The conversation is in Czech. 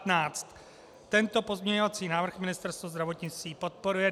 Tento pozměňovací návrh Ministerstvo zdravotnictví podporuje.